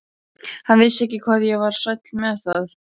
Hann vissi ekki hvað ég var sæll með það.